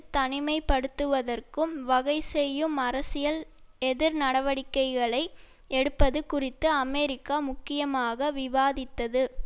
தனிமைப்படுத்துவற்கும் வகைசெய்யும் அரசியல் எதிர்நடவடிக்கைகளை எடுப்பது குறித்து அமெரிக்கா முக்கியமாக விவாதித்தது